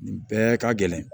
Nin bɛɛ ka gɛlɛn